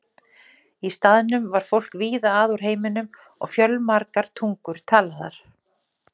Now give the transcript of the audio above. Í staðnum var fólk víða að úr heiminum og fjölmargar tungur talaðar.